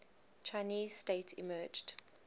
chinese state emerged